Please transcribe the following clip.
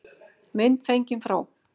Mynd fengin frá